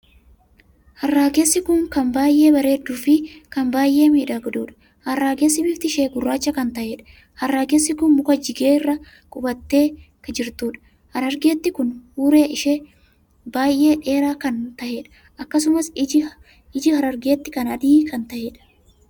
Harraagessi kun kan baay'ee bareedduu fi kan baay'ee miidhagduudha!harragessi bifti ishee gurraacha kan taheedha. harragessi kun muka jigee jiru irra qubatee jiruudha. harraagetti kun huuree ishee baay'ee dheeraa kan taheedha; akkasumas iji harraaggetti kanaa adii kan taheedhaa!